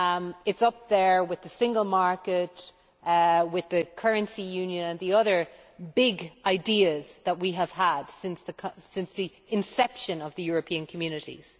It is up there with the single market, the currency union and the other big ideas that we have had since the inception of the European Communities.